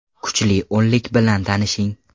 Kuchli o‘nlik bilan tanishing: !